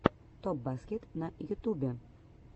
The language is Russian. топ баскет на ютубе